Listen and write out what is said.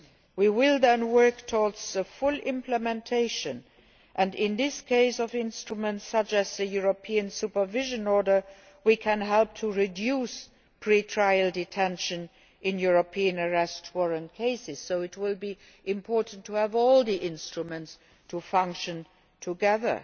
We will then work towards full implementation and in the case of instruments like the European Supervision Order, we can help to reduce pre trial detention in European Arrest Warrant cases, so it will be important to have all the instruments functioning together.